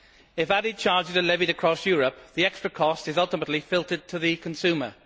If added charges are levied across Europe, the extra cost is ultimately filtered to the consumer.